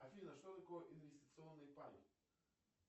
афина что такое инвестиционный пай